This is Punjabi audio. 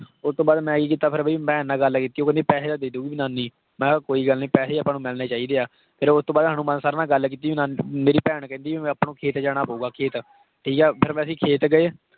ਉਹ ਤੋਂ ਬਾਅਦ ਮੈਂ ਕੀ ਕੀਤਾ ਫਿਰ ਵੀ ਭੈਣ ਨਾਲ ਗੱਲ ਕੀਤੀ ਉਹ ਕਹਿੰਦੀ ਪੈਸੇ ਤਾਂ ਦੇ ਦਊਗੀ ਨਾਨੀ, ਮੈਂ ਕਿਹਾ ਕੋਈ ਗੱਲ ਨੀ ਪੈਸੇ ਆਪਾਂ ਨੂੰ ਮਿਲਣੇ ਚਾਹੀਦੇ ਆ, ਫਿਰ ਉਸ ਤੋਂ ਬਾਅਦ ਹਨੂੰਮਾਨ sir ਨਾਲ ਗੱਲ ਕੀਤੀ ਮੇਰੀ ਭੈਣ ਕਹਿੰਦੀ ਵੀ ਆਪਾਂ ਨੂੰ ਖੇਤ ਜਾਣਾ ਪਊਗਾ ਖੇਤ, ਠੀਕ ਹੈ ਫਿਰ ਅਸੀ ਖੇਤ ਗਏ